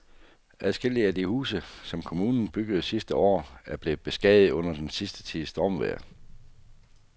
Adskillige af de huse, som kommunen byggede sidste år, er blevet beskadiget under den sidste tids stormvejr.